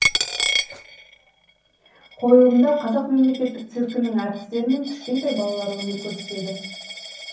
қойылымда қазақ мемлекеттік циркінің әртістері мен кішкентай балалар өнер көрсетеді